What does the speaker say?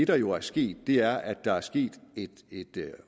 der jo er sket er at der er sket et